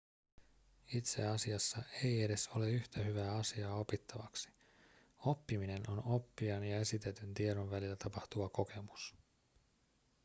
itse asiassa ei edes ole yhtä hyvää asiaa opittavaksi oppiminen on oppijan ja esitetyn tiedon välillä tapahtuva kokemus